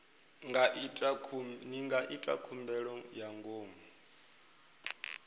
nga ita khumbelo ya ngomu